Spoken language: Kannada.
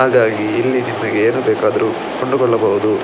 ಹಾಗಾಗಿ ಇಲ್ಲಿ ನಿಮಗೆ ಏನು ಬೇಕಾದರೂ ಕೊಂಡುಕೊಳ್ಳಬಹುದು.